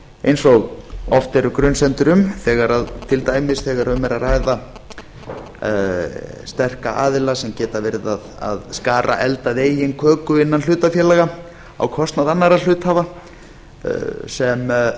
eins og oft eru grunsemdir um til dæmis þegar um er að ræða sterka aðila sem geta verið að skara eld að eigin köku innan hlutafélaga á kostnað annarra hluthafa sem